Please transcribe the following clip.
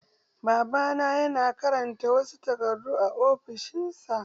Babana yana karanta wasu takardu a ofishin sa.